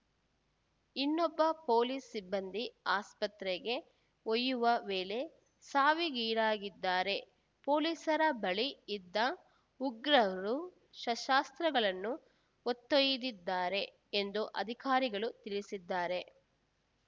ಇನ್ನೊಬ್ಬ ಪೊಲೀಸ್‌ ಸಿಬ್ಬಂದಿ ಆಸ್ಪತ್ರೆಗೆ ಒಯ್ಯುವ ವೇಳೆ ಸಾವಿಗೀಡಾಗಿದ್ದಾರೆ ಪೊಲೀಸರ ಬಳಿ ಇದ್ದ ಉಗ್ರರು ಶಸ್ತ್ರಾಸ್ತ್ರಗಳನ್ನು ಹೊತ್ತೊಯ್ದಿದ್ದಾರೆ ಎಂದು ಅಧಿಕಾರಿಗಳು ತಿಳಿಸಿದ್ದಾರೆ